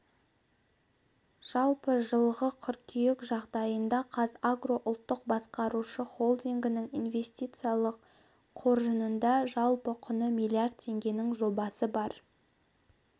жалпы жылғы қыркүйек жағдайында қазагро ұлттық басқарушы холдингінің инвестициялық қоржынында жалпы құны миллиард теңгенің жобасы бар